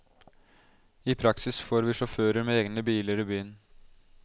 I praksis får vi sjåfører med egne biler i byen.